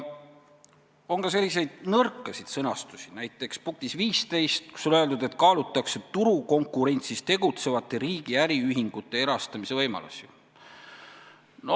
On ka nõrka sõnastust, näiteks punktis 15, kus on öeldud, et kaalutakse turukonkurentsis tegutsevate riigi äriühingute erastamise võimalusi.